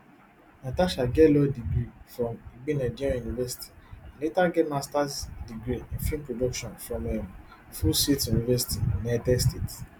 natasha get law degree from igbinedion university and later get masters degree in film production from um full sail university united states